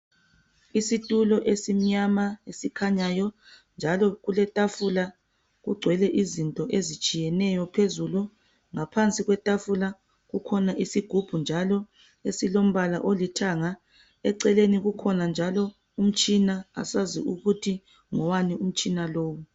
Isitulo esimnyama eskhanyayo njalo kuletafula ,kugcwele izinto ezitshiyeneyo phezulu. Ngaphansi kwetafula kukhona isigubhu njalo esilombala olithanga. Eceleni kukhona njalo umtshina asazi ukuthi ngowani umtshina lowo.